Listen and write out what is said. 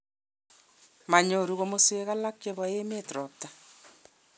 manyoru komoswek alak chebo emet robta